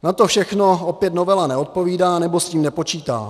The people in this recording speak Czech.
Na to všechno opět novela neodpovídá nebo s tím nepočítá.